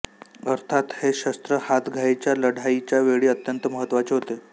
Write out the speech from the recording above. अर्थात हे शस्त्र हातघाईच्या लढाईच्या वेळी अत्यंत महत्त्वाचे होते